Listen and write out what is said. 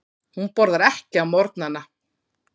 Hún borðar ekki á morgnana.